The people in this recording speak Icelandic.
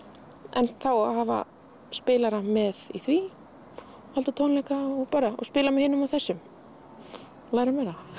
en það á að hafa spilara með í því og halda tónleika og spila með hinum og þessum læra